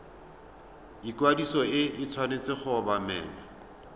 ikwadiso e tshwanetse go obamelwa